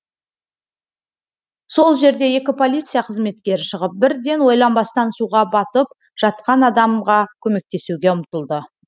сол жерде екі полиция қызметкері шығып бірден ойланбастан суға батып жатқан адамға көмектесуге ұмтылды